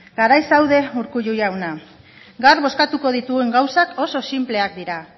garai zaude urkullu jauna gaur bozkatuko dituen gauzak oso sinpleak dira